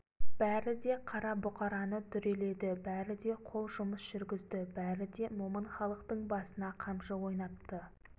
бәрі де қара бұқараны дүреледі бәрі де қол жұмыс жүргізді бәрі де момын халықтың басына қамшы ойнатты